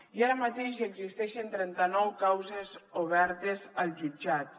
i ara mateix existeixen trenta nou causes obertes als jutjats